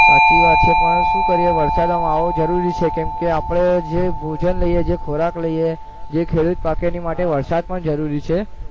સાચી વાત છે પણ શું કરીએ વરસાદ આવે જરૂરી છે કેમકે આપણે જે ભોજન લઈએ જે ખોરાક લઈએ જે ખેડૂત પાકે એના માટે વરસાદ પણ જરૂરી છે